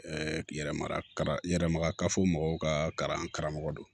yɛrɛmara yɛrɛma ka fɔ mɔgɔw ka karamɔgɔ don